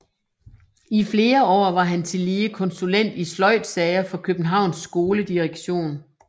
I flere år var han tillige konsulent i sløjdsager for Københavns skoledirektion